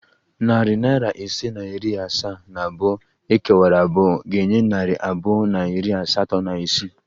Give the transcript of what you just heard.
Narị naira ise na iri asaa na abụọ ekewara abụọ ga-enye narị abụọ na iri asatọ na isii